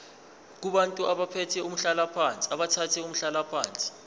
kubantu abathathe umhlalaphansi